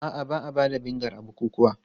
A'a, ba a ba da vinegar a bukukuwa.